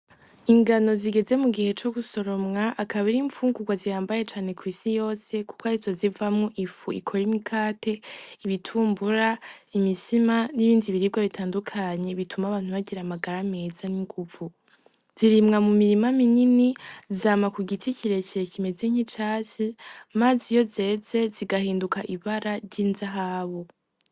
Ingano zigeze mugihe cugusoromwa akaba ari imfungurwa zihambaye cane kwisi yose kuko arizo zivamwo ifu ikora imikate, ibitumbura, imitsima nibindi biribwa bitandukanye bituma abantu bagira amagara meza ninguvu. Zirimwa mu mirima minini, zama kugiti kirekire kimeze nkicatsi maze iyo zeze zigahinduka ibara ry'inzahabu.